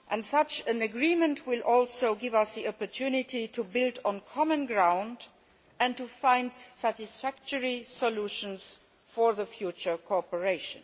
Such an agreement will also give us the opportunity to build on common ground and to find satisfactory solutions for future cooperation.